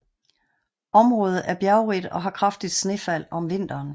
Området er bjergrigt og har kraftigt snefald om vinteren